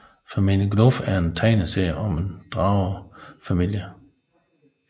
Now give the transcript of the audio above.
Familien Gnuff er en tegneserie om en dragefamilie